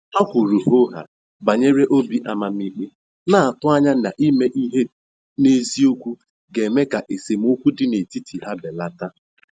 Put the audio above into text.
Ha kwuru hoo haa banyere obi amamikpe, na-atụ anya na ime ihe n'eziokwu ga-eme ka esemokwu dị n'etiti ha belata.